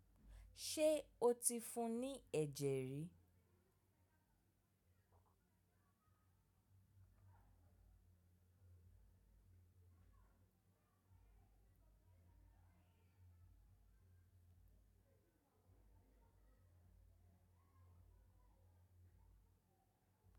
Ṣé o ti fún ní ẹ̀jẹ̀ rí?